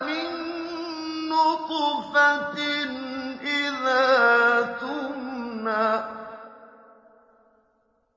مِن نُّطْفَةٍ إِذَا تُمْنَىٰ